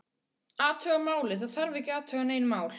Athuga málið, það þarf ekki að athuga nein mál